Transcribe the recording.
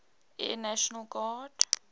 air national guard